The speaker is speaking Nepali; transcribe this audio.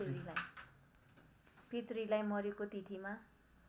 पितृलाई मरेको तिथिमा